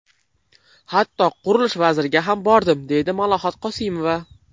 Hatto Qurilish vaziriga ham bordim, deydi Malohat Qosimova.